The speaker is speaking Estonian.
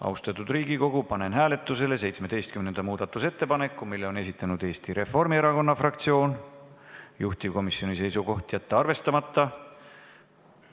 Austatud Riigikogu, panen hääletusele 17. muudatusettepaneku, mille on esitanud Eesti Reformierakonna fraktsioon, juhtivkomisjoni seisukoht: jätta see arvestamata.